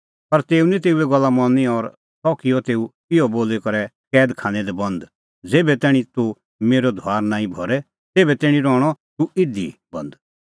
पर तेऊ निं तेऊए गल्ला मनी और सह किअ तेऊ इहअ बोली करै कैद खानै दी बंद ज़ेभै तैणीं तूह मेरअ धुआर नांईं भरे तेभै तैणीं रहणअ तूह इधी बंद